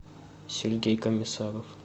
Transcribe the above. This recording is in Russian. сергей комиссаров